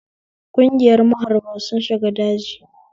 Ƙungiyar maharba sun shiga daji